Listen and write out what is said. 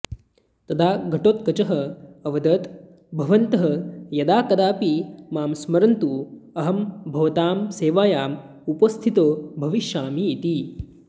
तदा घाटोत्कचः अवदत् भवन्तः यदाकदापि मां स्मरन्तु अहं भवतां सेवायाम् उपस्थितो भविष्यामि इति